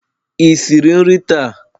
Ị siri nri taa?